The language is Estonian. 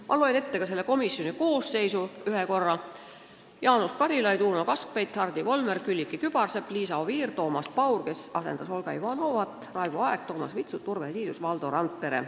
Ma loen ette ka komisjoni koosseisu: Jaanus Karilaid, Uno Kaskpeit, Hardi Volmer, Külliki Kübarsepp, Liisa Oviir, Toomas Paur, kes asendas Olga Ivanovat, Raivo Aeg, Toomas Vitsut, Urve Tiidus ja Valdo Randpere.